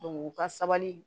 u ka sabali